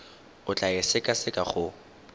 o tla e sekaseka go